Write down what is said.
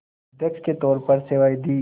अध्यक्ष के तौर पर सेवाएं दीं